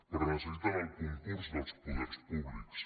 però necessiten el concurs dels poders públics